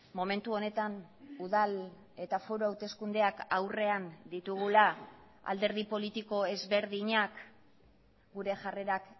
momentu honetan udal eta foru hauteskundeak aurrean ditugula alderdi politiko ezberdinak gure jarrerak